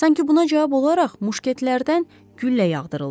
Sanki buna cavab olaraq muşketlərdən güllə yağdırıldı.